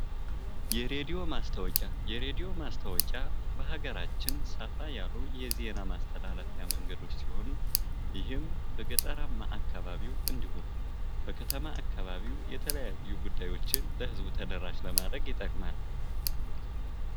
የሬዲዮ ማስታወቂያ፤ የሬድዮ ማስታወቂያ በሀገራችን ሰፋ ያሉ የዜና ማስተላለፊያ መንገዶች ሲሆኑ ይህም በገጠራማ አካባቢው እንዲሁም በከተማ አካባቢው የተለያዩ ጉዳዮችን ለህዝቡ ተደራሽ ለማድረግ ይጠቅማል።